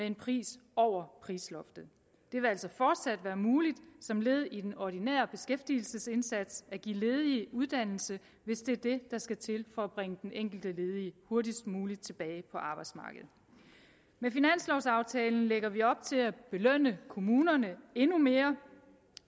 en pris over prisloftet det vil altså fortsat være muligt som led i den ordinære beskæftigelsesindsats at give ledige uddannelse hvis det er det der skal til for at bringe den enkelte ledige hurtigst muligt tilbage på arbejdsmarkedet med finanslovaftalen lægger vi op til at belønne kommunerne endnu mere